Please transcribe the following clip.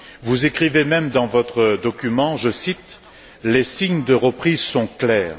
Vous écrivez même dans votre document, je cite Les signes de reprise sont clairs.